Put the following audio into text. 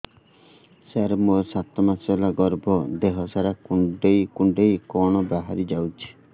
ସାର ମୋର ସାତ ମାସ ହେଲା ଗର୍ଭ ଦେହ ସାରା କୁଂଡେଇ କୁଂଡେଇ କଣ ବାହାରି ଯାଉଛି